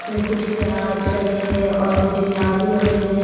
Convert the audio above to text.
इसमें कुछ प्याज रखे हैं और कुछ में आलू रखे हैं।